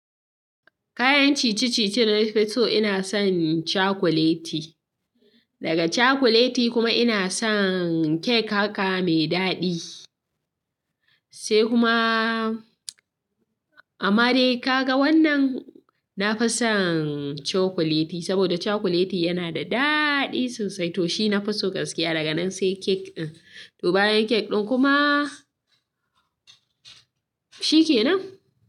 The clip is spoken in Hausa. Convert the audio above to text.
Kayan ciye-ciye na fi so ina son cakuleti. Daga cakuleti kuma ina son kek haka mai daɗi sai kuma amadai ka ga wannan na fi son cakuleti saboda cakuleti yana da daɗi sosai to shi na fi so gaskiya daga nan sai kek ɗin. To bayan kek ɗin kuma shi ke nan.